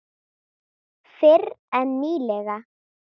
Fyrr en nýlega.